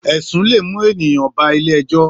Èsún lé mú éniyán bá ilé èjò